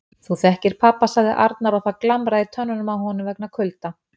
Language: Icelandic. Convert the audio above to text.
Þú þekkir pabba sagði Arnar og það glamraði í tönnunum á honum vegna kulda.